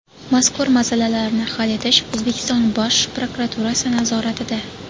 Mazkur masalalarni hal etish O‘zbekiston Bosh prokuraturasi nazoratida.